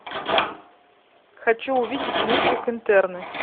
хочу увидеть мультик интерны